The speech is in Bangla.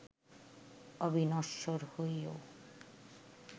অবিনশ্বর হয়েও